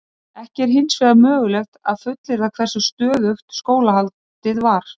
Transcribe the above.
Ekki er hins vegar mögulegt að fullyrða hversu stöðugt skólahaldið var.